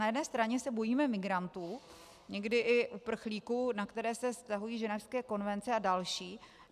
Na jedné straně se bojíme migrantů, někdy i uprchlíků, na které se vztahují ženevské konvence a další.